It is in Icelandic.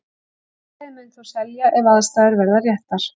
Félagið mun þó selja ef aðstæður verða réttar.